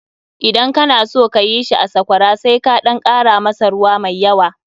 Idan kana son ka yi shi a Sakwara sai ka ɗan kara masa ruwa mai yawa.